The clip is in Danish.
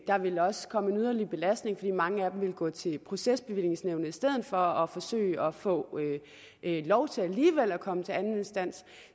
vil også komme en yderligere belastning fordi mange af dem vil gå til procesbevillingsnævnet i stedet for og forsøge at få lov til alligevel at komme til anden instans